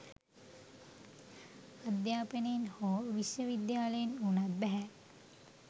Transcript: අධ්‍යාපනයෙන් හෝ විශ්වවිද්‍යාලයෙන් වුණත් බැහැ